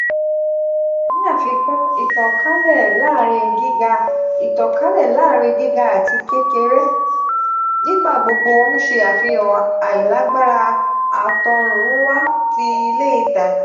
ni afikun itankale laarin giga itankale laarin giga ati kekere nigbagbogbo n ṣe afihan ailagbara atorunwa ti ile itaja.